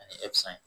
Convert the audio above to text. Ani